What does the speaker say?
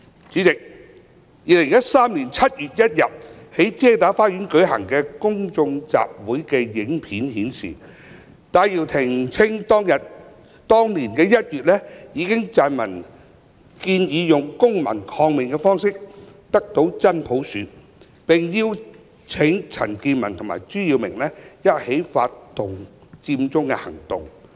主席 ，2013 年7月1日在遮打花園舉行的公眾集會的影片顯示，戴耀廷稱當年1月已撰文建議用"公民抗命"方式得到"真普選"，並邀請陳健民及朱耀明一起發動佔中行動。